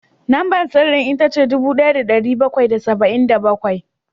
Lambar sirrin ita ce dubu ɗaya da ɗari bakwai da saba’in da bakwai